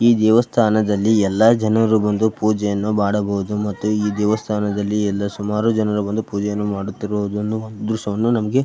ಈ ದೇವಸ್ಥಾನದಲ್ಲಿ ಎಲ್ಲರು ಬಂದು ಪೂಜೆಯನ್ನು ಮಾಡಬಹುದು ಮತ್ತು ಈ ದೇವಸ್ಥಾನದಲ್ಲಿ ಸುಮಾರು ಜನರು ಬಂದು ಪೂಜೆ ಮಾಡುತ್ತಿರುವ ದ್ರಶ್ಯವನ್ನು --